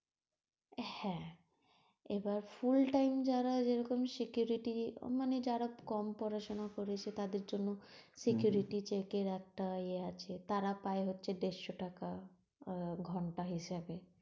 হ্যাঁ, এবার full time যারা, যেরকম security মানে যারা কম পড়াশোনা করেছে, তাদের জন্য security check র একটা ওই একটা এ আছে, তারা পায় হচ্ছে দেড়শো টাকা, আর ঘন্টা হিসাবে।